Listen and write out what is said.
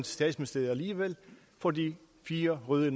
statsministeriet alligevel fordi fire røde